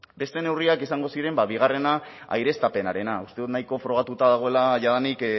beste neurriak izango ziren bigarrena aireztapenarena uste dut nahiko frogatuta dagoela jadanik